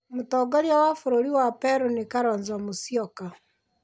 Mũtongoria wa bũrũri wa Peru nĩ Kalonzo Musyoka.